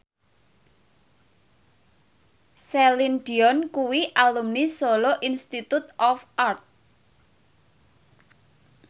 Celine Dion kuwi alumni Solo Institute of Art